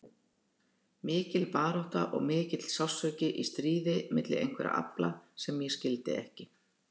Mikil barátta og mikill sársauki í stríði milli einhverra afla sem ég skildi ekki.